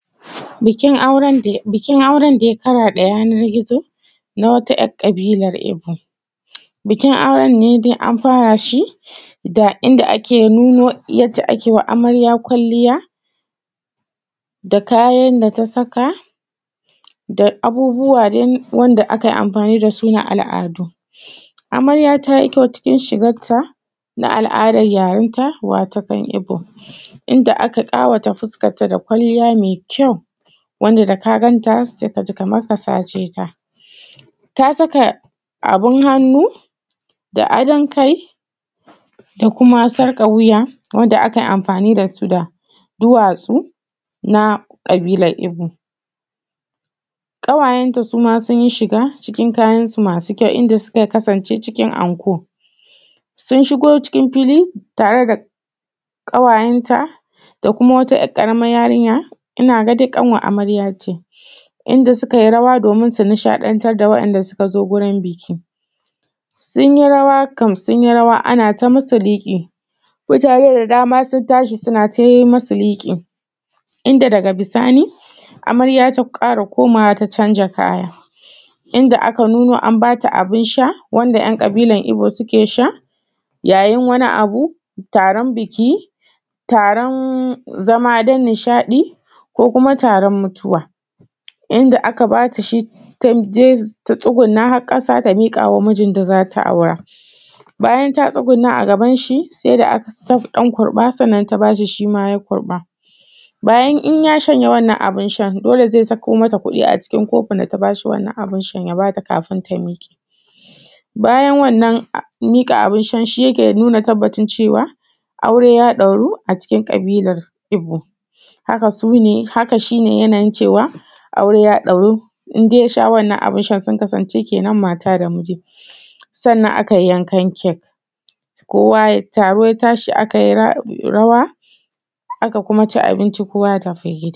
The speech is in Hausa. Bikin bikin, auran daya karaɗe yana gizo na wata ‘yar ƙabilan ebo. Bikin auran ne dai an nuna shi da inda ake nuno yace akewa amarya ƙwaliya, da kayan da ta saka, da abubuwa dai wanda akai amfani dasu na al’adu. Amarya tayi kyau cikin shigarta na al’adan yarenta wato kan ebo, inda aka kawata fuskanta da kwalliya me kyau, wanda da ka ganta sai kaji kamar ka saceta. Ta saka abun hannu, da adon kai da kuma sarƙar wuya wanda akai amfani dasu da duwatsu na kaɓilar ebo. ƙawayenta suma sunyi shiga cikin kayan su masu kyau, inda suka kasance cikin anko. Sun shigo cikin fili tare da ƙawayenta da kuma wata ‘yar ƙaramar yarinya, inaga dai ƙanwar amaryace. Inda sukai rawa domin su nishaɗantar da wa’inda suka zo gurin biki, sunyi rawa kam, sunyi rawa anata musu liƙi, mutane da dama sun tashi suna ta yi musu liƙi, inda daga bisani amarya ta kara komawa ta canja kaya, inda aka nuno an bata abin sha, wanda ‘yan ɗabilan ebo suke sha, ya yin wani abu, taron biki, taron zama don nishadi ko kuma taron mutuwa. Inda aka bata shi taje ta tsuguna har ƙasa ta mikawa mijinta da zata aura. Bayan ta tsuguna a gaban shi sai da aka ta ɗan kurɓa sannan ta bashi shima ya kurɓa, bayan in ya shanye wannan abin shan dole ze sako mata kuɗi a cikin kofin data bashi wannan abin shan kafin ta miƙe. Bayan wannan miƙa abin shan shike nuna tabbacin cewa aure ya ɗauro a cikin ƙabilar ebo. Haka sune, haka shi ne yana yin cewa aure ya ɗauru in dai yasha wannan abin shan, sun kasance shikenan mata da miji. Sannan akai yan kan kake, kowa ya, taro ya tashi akai rawa aka kuma ci abincin, kowa ya tafi gida.